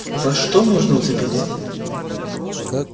за что можно уцепиться